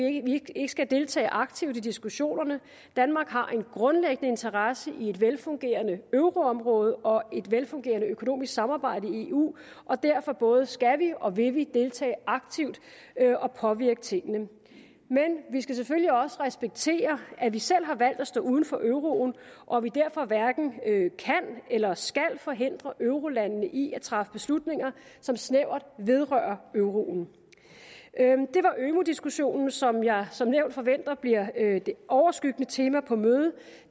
ikke skal deltage aktivt i diskussionerne danmark har en grundlæggende interesse i et velfungerende euroområde og et velfungerende økonomisk samarbejde i eu og derfor både skal og vil vi deltage aktivt og påvirke tingene men vi skal selvfølgelig også respektere at vi selv har valgt at stå uden for euroen og at vi derfor hverken kan eller skal forhindre eurolandene i at træffe beslutninger som snævert vedrører euroen det var ømu diskussionen som jeg som nævnt forventer bliver det overskyggende tema på mødet